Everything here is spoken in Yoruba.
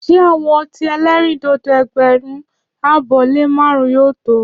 Ṣé àwọn ọtí elerindodo ẹgbẹrun abọ le márún yóò to?